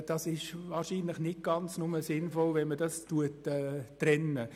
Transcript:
Es ist wahrscheinlich nicht nur sinnvoll, wenn man das trennt.